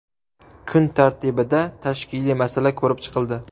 Kun tartibida tashkiliy masala ko‘rib chiqildi.